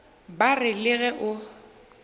ba re le ge o